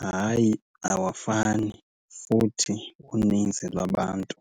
Hayi, awafani futhi uninzi lwabantu